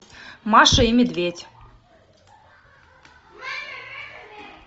маша и медведь